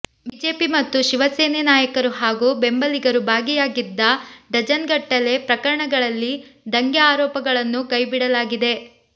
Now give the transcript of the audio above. BJP ಮತ್ತು ಶಿವಸೇನೆ ನಾಯಕರು ಹಾಗೂ ಬೆಂಬಲಿಗರು ಭಾಗಿಯಾಗಿದ್ದ ಡಝನ್ಗಟ್ಟಲೆ ಪ್ರಕರಣಗಳಲ್ಲಿ ದಂಗೆ ಆರೋಪಗಳನ್ನೂ ಕೈಬಿಡಲಾಗಿದೆ